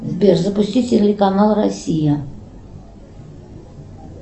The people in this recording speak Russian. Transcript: сбер запусти телеканал россия